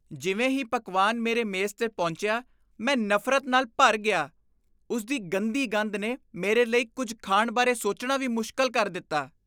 ਜਿਵੇਂ ਹੀ ਪਕਵਾਨ ਮੇਰੇ ਮੇਜ਼ 'ਤੇ ਪਹੁੰਚਿਆ, ਮੈਂ ਨਫ਼ਰਤ ਨਾਲ ਭਰ ਗਿਆ, ਉਸਦੀ ਗੰਦੀ ਗੰਧ ਨੇ ਮੇਰੇ ਲਈ ਕੁਝ ਖਾਣ ਬਾਰੇ ਸੋਚਣਾ ਵੀ ਮੁਸ਼ਕਲ ਕਰ ਦਿੱਤਾ..